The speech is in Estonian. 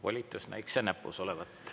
Volitus näikse näpus olevat.